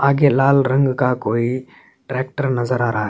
आगे लाल रंग का कोई ट्रैक्टर नज़र आ रहा है।